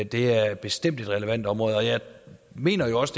det er bestemt et relevant område og jeg mener også